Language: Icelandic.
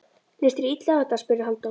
Leist þér illa á þetta? spurði Halldór.